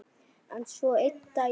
En svo einn daginn.